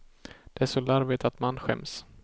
Det är så larvigt att man skäms.